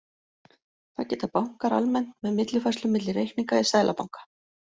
Það gera bankar almennt með millifærslum milli reikninga í seðlabanka.